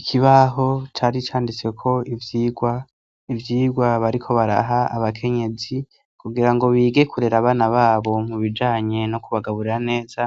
Ikibaho cari canditse ko ivyigwa. Ivyigwa bariko baraha abakenyezi kugira ngo bige kurera abana babo mu bijanye no kubagaburira neza